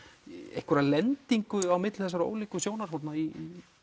einhverja lendingu á milli þessara ólíku sjónarhorna í